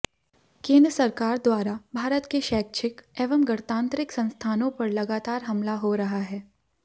केंद्र सरकार द्वारा भारत के शैक्षिक एवं गणतांत्रिक संस्थानों पर लगातार हमला हो रहा है